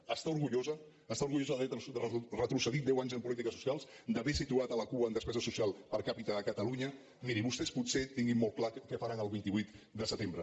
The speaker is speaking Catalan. n’està orgullosa està orgullosa d’haver retrocedit deu anys en polítiques socials d’haver situat a la cua en despesa social per capita catalunya miri vostès potser tinguin molt clar què faran el vint vuit de setembre